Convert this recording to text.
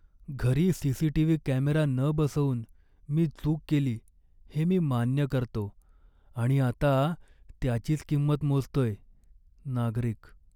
घरी CCTV. Camera न बसवून मी चूक केली हे मी मान्य करतो आणि आता त्याचीच किंमत मोजतोय. नागरिक